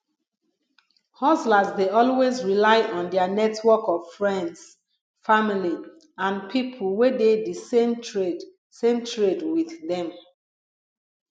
hustlers dey always rely on their network of friends family and people wey dey di same trade same trade with them